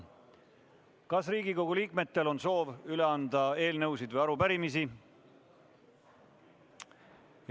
Kas Riigikogu liikmetel on soovi üle anda eelnõusid või arupärimisi?